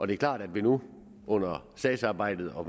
det er klart at vi nu under sagsarbejdet og